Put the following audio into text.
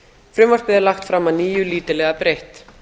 frumvarpið er lagt fram að nýju lítillega breytt